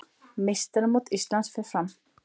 Meistaramót Íslands fer fram